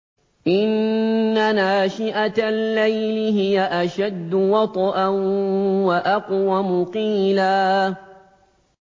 إِنَّ نَاشِئَةَ اللَّيْلِ هِيَ أَشَدُّ وَطْئًا وَأَقْوَمُ قِيلًا